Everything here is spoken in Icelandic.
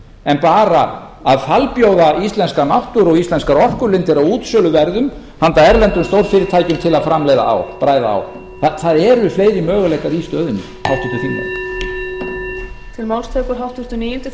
en bara að falbjóða íslenska náttúru og íslenskar orkulindir á útsöluverði handa erlendum stórfyrirtækjum til að framleiða ál bræða ál það eru fleiri möguleikar í stöðunni háttvirtur þingmaður